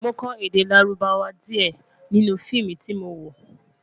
mọ kò èdè lárùbáwá diẹ nínú feemu tí mọ wo